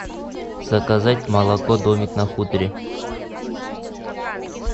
заказать молоко домик на хуторе